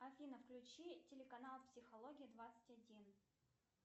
афина включи телеканал психология двадцать один